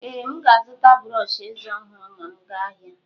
Ee, m ga-azụta brọsh eze ọhụrụ ma m ga ahịa.